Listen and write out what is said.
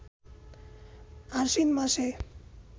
আশ্বিন মাসে